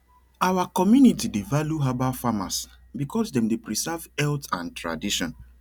our community dey value herbal farmers because dem dey preserve health and tradition